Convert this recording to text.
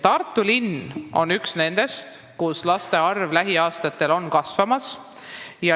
Tartu linn on üks nendest piirkondadest, kus laste arv lähiaastatel on kasvamas.